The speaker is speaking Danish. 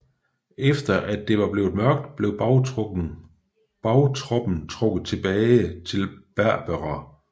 Efter at det var blevet mørkt blev bagtroppen trukket tilbage til Berbera